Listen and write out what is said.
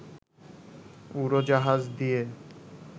উড়োজাহাজ দিয়ে